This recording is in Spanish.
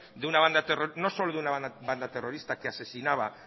de una banda terrorista no solo de una banda terrorista que asesinaba